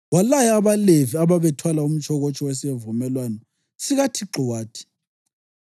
walaya abaLevi ababethwala umtshokotsho wesivumelwano sikaThixo wathi: